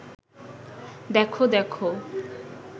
দেখ দেখ